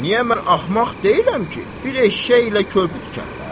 Niyə mən axmaq deyiləm ki, bir eşşəklə körpü tikərlər?